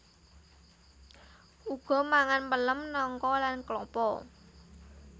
Uga mangan pelem nangka lan klapa